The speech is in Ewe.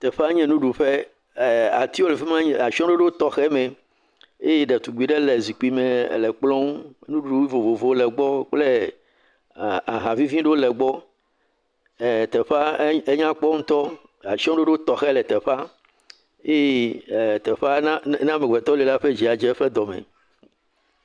Teƒea nye nuɖuƒe. Atiwo le afi ma le atsɔɖoɖo tɔxe me eye ɖetugbi ɖe le zikpui me le kplɔ nu. Nuɖuɖu vovovowo le egbɔ kple ahavivi aɖewo le egbɔ. E teƒea enyakpɔ ŋutɔ. Atsɔɖoɖo tɔxe le teƒea. Eye teƒe na na amegbetɔ li la eƒe dzi adze eƒe dɔ me.